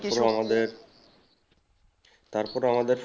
তারপরে আমাদের